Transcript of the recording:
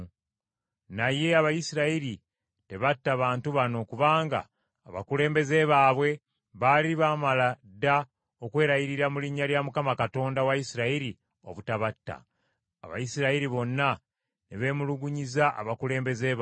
Naye Abayisirayiri tebatta bantu bano kubanga abakulembeze baabwe baali baamala dda okwerayirira mu linnya lya Mukama Katonda wa Isirayiri obutabatta. Abayisirayiri bonna ne beemulugunyiza abakulembeze baabwe.